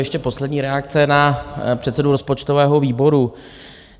Ještě poslední reakce na předsedu rozpočtového výboru.